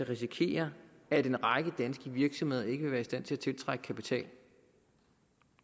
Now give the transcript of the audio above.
risikere at en række danske virksomheder ikke vil være i stand til at tiltrække kapital